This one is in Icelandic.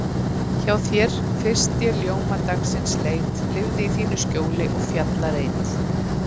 Hjá þér fyrst ég ljóma dagsins leit, lifði í þínu skjóli og fjallareit.